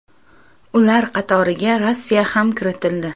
Ular qatoriga Rossiya ham kiritildi.